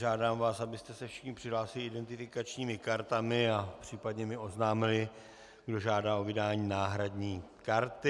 Žádám vás, abyste se všichni přihlásili identifikačními kartami a případně mi oznámili, kdo žádá o vydání náhradní karty.